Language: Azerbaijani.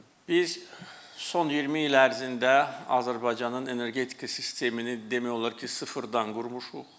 Biz son 20 il ərzində Azərbaycanın energetika sistemini demək olar ki, sıfırdan qurmuşuq.